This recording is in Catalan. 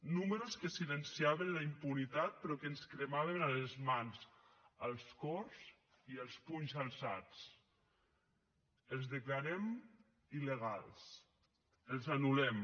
números que silenciaven la impunitat però que ens cremaven a les mans als cors i als punys alçats els declarem il·legals els anul·lem